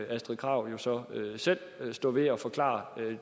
astrid krag jo så selv stå ved og forklare